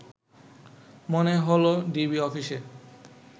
মনে হলো ডিবি অফিসে